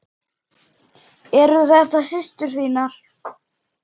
Eru þetta systur þínar?